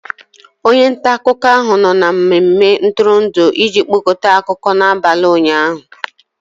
onye nta akụkọ ahụ nọ na mmemme ntụrụndụ iji kpokọta akụkọ n'abalị ụnyaahụ